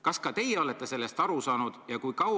Kas ka teie olete sellest aru saanud?